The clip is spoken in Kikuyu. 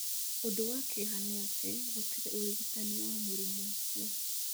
Ũndũ wa kĩeha nĩ atĩ, gũtirĩ ũrigitani wa mũrimũ ũcio.